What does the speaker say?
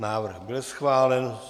Návrh byl schválen.